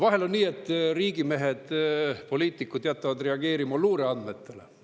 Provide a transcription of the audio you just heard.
Vahel on nii, et riigimehed, poliitikud, jätavad reageerimata luureandmetele.